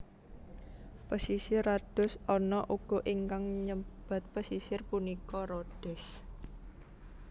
Pesisir Rodos ana uga ingkang nyebat pesisir punika Rhodes